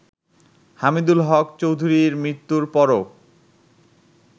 হামিদুল হক চৌধুরীর মৃত্যুর পরও